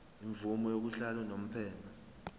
imvume yokuhlala unomphema